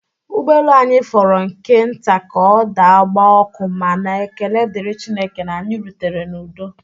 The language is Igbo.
Ụgbọelu anyị fọrọ nke nta ka ọ daa gbaa ọkụ ma na ekele dịrị Chineke na anyị rutere n'udo